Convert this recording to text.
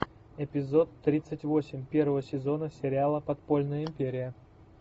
эпизод тридцать восемь первого сезона сериала подпольная империя